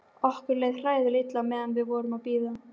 Okkur leið hræðilega illa meðan við vorum að bíða.